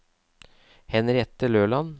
Henriette Løland